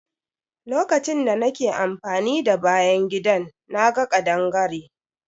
Lokacin da nake amfani da bayan gidan, na ga kaɗangare.